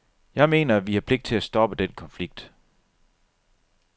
Jeg mener, at vi har pligt til at stoppe den konflikt.